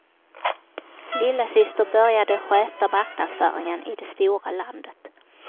Lillasyster började sköta marknadsföringen i det stora landet.